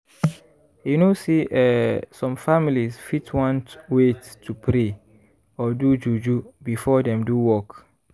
you know say eeh some families fit want wait to pray or do juju before dem do work.